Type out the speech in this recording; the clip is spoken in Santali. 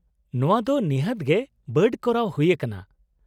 ᱱᱚᱶᱟ ᱫᱚ ᱱᱤᱦᱷᱟ.ᱛ ᱜᱮ ᱵᱟᱰ ᱠᱚᱨᱟᱣ ᱦᱩᱭ ᱟᱠᱟᱱᱟ ᱾